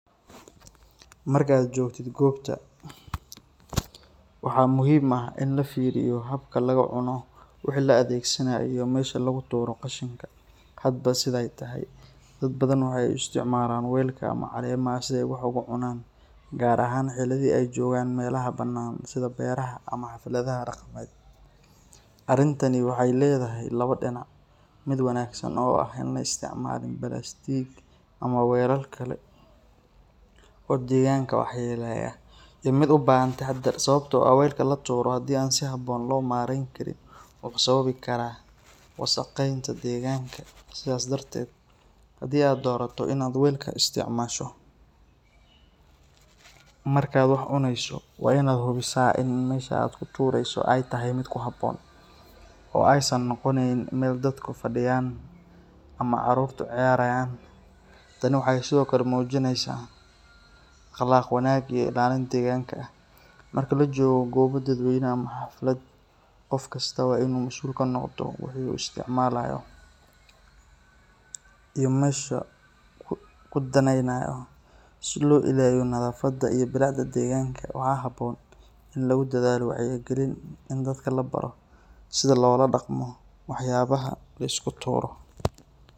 Marka aad joogto goobta, waxaa muhiim ah in la fiiriyo habka lagu cuno wixii la adeegsanayo iyo meesha lagu tuuro qashinka hadba sida ay tahay. Dad badan waxay u isticmaalaan welka ama caleemaha si ay wax ugu cunaan, gaar ahaan xilliyada ay joogaan meelaha banaan sida beeraha ama xafladaha dhaqameed. Arrintani waxay leedahay labo dhinac: mid wanaagsan oo ah in aan la isticmaalin balaastik ama weelal kale oo deegaanka waxyeeleeya, iyo mid u baahan taxadar, sababtoo ah welka la tuuro haddii aan si habboon loo maareyn karin wuxuu sababi karaa wasakheynta deegaanka. Sidaas darteed, haddii aad doorato in aad welka isticmaasho marka aad wax cuneyso, waa in aad hubisaa in meesha aad ku tuureyso ay tahay mid ku habboon, oo aysan noqoneyn meel dadku fadhiyaan ama carruurtu ciyaaraan. Tani waxay sidoo kale muujinaysaa akhlaaq wanaag iyo ilaalin deegaanka ah. Marka la joogo goob dadweyne ama xaflad, qof kasta waa inuu masuul ka noqdo wixii uu isticmaalayo iyo meesha uu ku daynayo, si loo ilaaliyo nadaafadda iyo bilicda deegaanka. Waxaa habboon in lagu dadaalo wacyi gelin iyo in dadka la baro sida loola dhaqmo waxyaabaha la iska tuuro.